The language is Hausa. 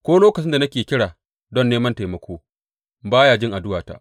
Ko lokacin da nake kira don neman taimako, ba ya jin addu’ata.